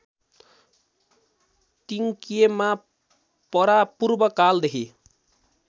तिङक्येमा परापूर्वकालदेखि